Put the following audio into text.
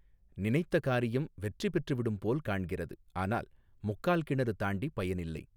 நினைத்த காரியம் வெற்றி பெற்றுவிடும்போல் காண்கிறது ஆனால் முக்கால் கிணறு தாண்டி பயனில்லை.